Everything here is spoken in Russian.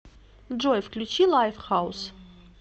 джой включи лайфхаус